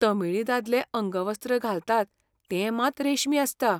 तमिळी दादले अंगवस्त्र घालतात तें मात रेशमी आसता.